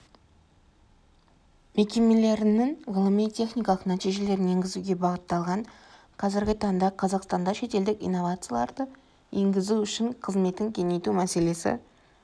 мекемелерінің ғылыми-техникалық нәтижелерін енгізуге бағытталған қазіргі таңда қазақстанда шетелдік инновацияларды енгізу үшін қызметін кеңейту мәселесі